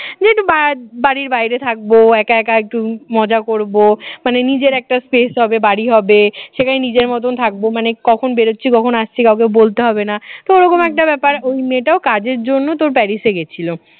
বাড়ির বাইরে থাকবো একা একা একটু মজা করব মানে নিজের একটা space হবে বাড়ি হবে সেখানে নিজের মতন থাকবো মানে কখন বেরোচ্ছি কখনো আসছি কাউকে বলতে হবে না ওরকম একটা ব্যাপার ওই মেয়েটাও কাজের জন্যই তোর প্যারিসে গেছিল